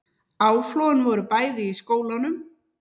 Áflogin voru bæði í skólanum